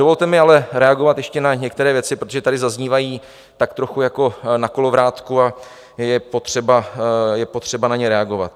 Dovolte mi ale reagovat ještě na některé věci, protože tady zaznívají tak trochu jako na kolovrátku a je potřeba na ně reagovat.